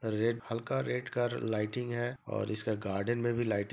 red हल red का lighting है और इसका गार्डन में भी लाइट --